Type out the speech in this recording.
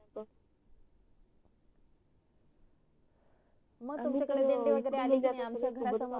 मग तुमच्या कडे दिंडी वगरे आली का नाही आमच्या घरा समोरूनच